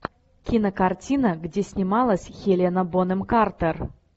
кинокартина где снималась хелена бонэм картер